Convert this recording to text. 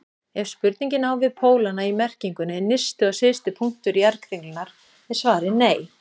Ef spurningin á við pólana í merkingunni nyrsti og syðsti punktur jarðkringlunnar er svarið nei.